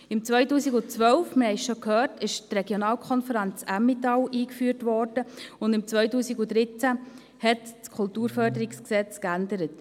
Im Jahr 2012 – wir haben es bereits gehört – wurde die Regionalkonferenz Emmental eingeführt, und im Jahr 2013 wurde das KKFG geändert.